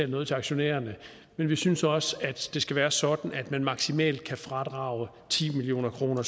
noget til aktionærerne men vi synes også det skal være sådan at man maksimalt kan fradrage for ti million kroner